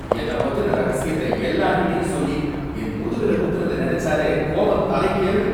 என்னை பத்தின ரகசியத்தை எல்லார்கிட்டயும் சொல்லி, என் முதுகுல குத்துனத நெனச்சாலே கோவம் தலைக்கேறுது.